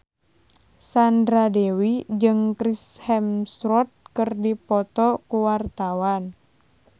Sandra Dewi jeung Chris Hemsworth keur dipoto ku wartawan